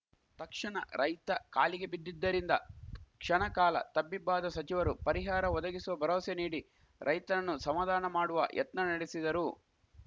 ತಕ್ಷಣ ರೈತ ಕಾಲಿಗೆ ಬಿದ್ದಿದ್ದರಿಂದ ಕ್ಷಣಕಾಲ ತಬ್ಬಿಬ್ಬಾದ ಸಚಿವರು ಪರಿಹಾರ ಒದಗಿಸುವ ಭರವಸೆ ನೀಡಿ ರೈತನನ್ನು ಸಮಾಧಾನ ಮಾಡುವ ಯತ್ನ ನಡೆಸಿದರು